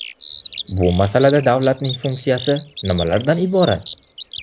Bu masalada davlatning funksiyasi nimalardan iborat?